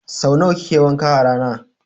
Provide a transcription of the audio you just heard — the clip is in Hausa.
So nawa kike wanka a rana?